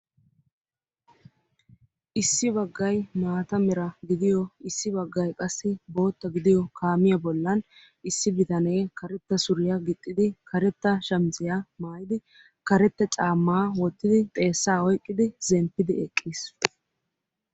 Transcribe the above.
issi baggay maata mera giddiyo issi bagay qassi bootta gidiyo kaamiya bollan issi bitanee karetta suriyaa gixxidi kareta shamissiya maayidi kareta caamaa wottidi xeesaa oyqqidi zemppidi eqqiis.